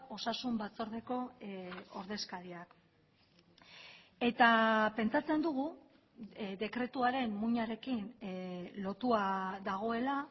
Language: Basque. osasun batzordeko ordezkariak eta pentsatzen dugu dekretuaren muinarekin lotua dagoela